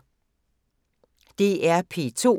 DR P2